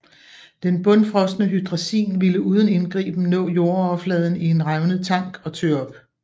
Den bundfrosne hydrazin ville uden indgriben nå jordoverfladen i en revnet tank og tø op